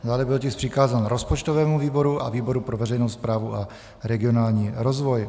Dále byl tisk přikázán rozpočtovému výboru a výboru pro veřejnou správu a regionální rozvoj.